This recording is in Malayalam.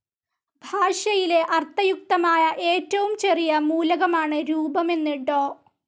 ഭാഷയിലെ അർത്ഥയുക്തമായ ഏറ്റവും ചെറിയ മൂലകമാണ് രൂപം എന്ന് ഡോ.